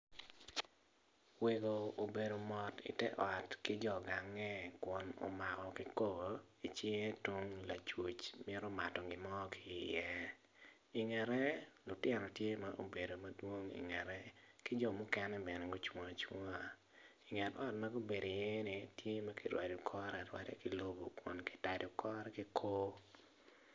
Wego obedo mot i te ot ki jo ganga kun omako kikopo i cinge tung lacuc tye ka mato gin mo ki iye i ngete lutino tye ma gubedo madwong i ngete ki jo mukene bene gucung acunga.